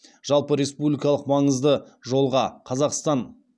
жалпы республикалық маңызды жолға